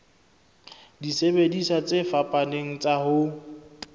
disebediswa tse fapaneng tsa ho